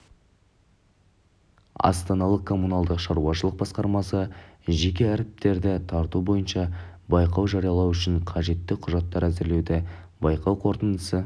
астаналық коммуналдық шаруашылық басқармасы жеке әріптестерді тарту бойынша байқау жариялау үшін қажетті құжаттар әзірлеуде байқау қорытындысы